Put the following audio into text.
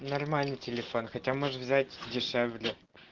нормальный телефон хотя может взять дешевле